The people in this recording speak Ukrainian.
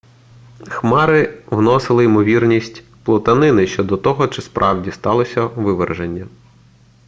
хмари вносили ймовірність плутанини щодо того чи справді сталося виверження